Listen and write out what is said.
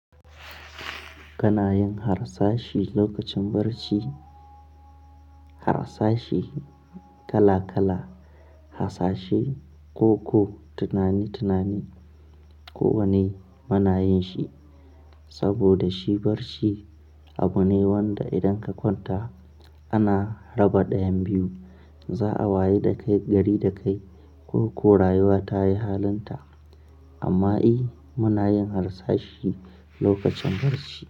Kanayin hasashe lokacin barci, hasashi kala kala, hasashe, koko, tunani tunani. Ko wane muna yin shi saboda shi barci abu ne wanda idan ka kwanta ana raba dayan biyu. Za'a waye da kai gari da kai ko ko rayuwa ta yi halinta. Amma i muna yin harsashi lokacin barci.